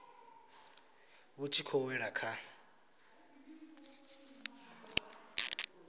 vhu tshi khou wela kha